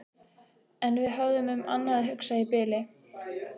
En við höfðum um annað að hugsa í bili.